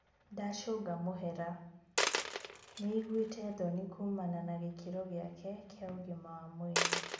Ndacũnga mũhera 'nĩaiguĩte thoni kuumana na gĩkĩro gĩake kĩa ũgima wa mwĩrĩ '